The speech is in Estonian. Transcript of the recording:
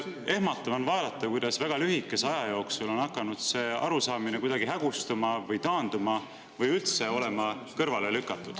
Ehmatav on vaadata, kuidas väga lühikese aja jooksul on hakanud see arusaam kuidagi hägustuma või taanduma või üldse on seda hakatud kõrvale lükkama.